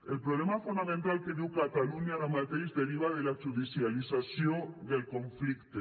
el problema fonamental que viu catalunya ara mateix deriva de la judicialització del conflicte